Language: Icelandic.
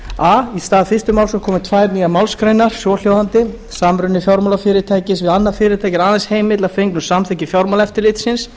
í stað fyrstu málsgreinar komi tvær nýjar málsgreinar svohljóðandi samruni fjármálafyrirtækis við annað fyrirtæki er aðeins heimill að fengnu samþykki fjármálaeftirlitsins